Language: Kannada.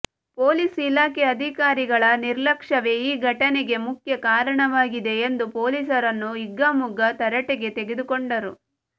ಪೊಲೀಸ್ ಇಲಾಖೆ ಅಧಿಕಾರಿಗಳ ನಿರ್ಲಕ್ಷವೇ ಈ ಘಟನೆಗೆ ಮುಖ್ಯ ಕಾರಣವಾಗಿದೆ ಎಂದು ಪೊಲೀಸರನ್ನು ಹಿಗ್ಗಾಮುಗ್ಗಾ ತರಾಟೆಗೆ ತೆಗೆದುಕೊಂಡರು